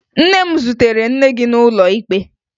Nne m zutere nne gị n'ụlọ ikpe